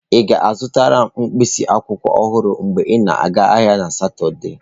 Ị ga-azụtara m mkpịsị akwụkwọ ọhụrụ mgbe ị na-aga ahịa na Satọde?